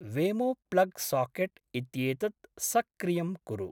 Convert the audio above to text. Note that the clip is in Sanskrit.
वेमो प्लग् साकेट् इत्येतत् सक्रियं कुरु।